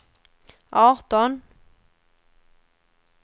arton